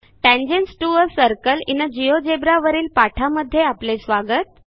tangents to a circle in GeoGebra वरील पाठामध्ये आपले स्वागत